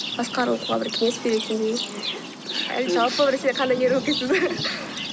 басқалар оқуға бір кеңес беретіндей әлде жалпы